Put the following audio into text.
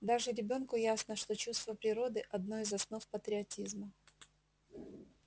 даже ребёнку ясно что чувство природы одна из основ патриотизма